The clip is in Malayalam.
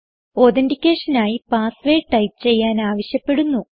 authenticationനായി പാസ് വേർഡ് ടൈപ്പ് ചെയ്യാൻ ആവശ്യപ്പെടുന്നു